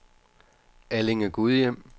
Allinge-Gudhjem